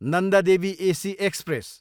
Nanda Devi AC express